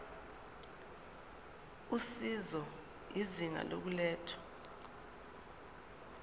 usizo izinga lokulethwa